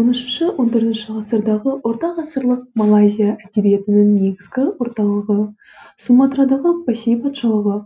он үшінші он төртінші ғасырдағы ортағасырлық малайзия әдебиетінің негізгі орталығы суматрадағы пасей патшалығы